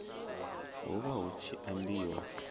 hu vha hu tshi ambiwa